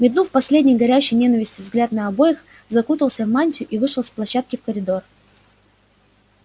метнув последний горящий ненавистью взгляд на обоих закутался в мантию и вышел с площадки в коридор